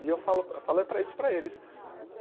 E eu falo falei para isso para eles.